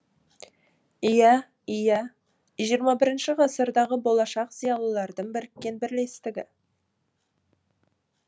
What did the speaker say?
иә иә жиырма бірінші ғасырдағы болашақ зиялылардың біріккен бірлестігі